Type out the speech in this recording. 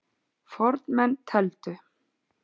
Fornmenn tefldu.